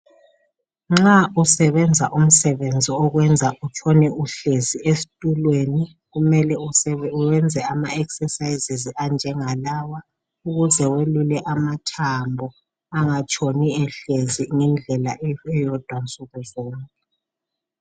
Nxa usebenza umsebenzi okwenza utshone uhlezi esitulweni kumele uyenze ama ekhsesayizisi anjengalawa ukuze uyelule amathambo angatshoni ehlezi indlela eyodwa nsuku zonke.